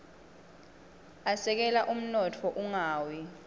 asekela umnotfo ungawi